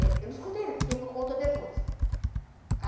Eu não escutei nada, quem me contou depois.